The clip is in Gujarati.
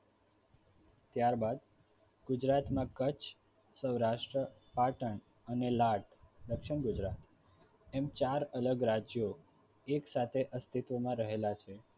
ત્યારબાદ ગુજરાતમાં કચ્છ, સૌરાષ્ટ્ર, પાટણ અને દક્ષિણ ગુજરાત એમ ચાર અલગ રાજ્યો એકસાથે અસ્તિત્વમાં રહેલા છે